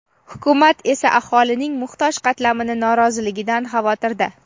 hukumat esa aholining muhtoj qatlamini noroziligidan xavotirda.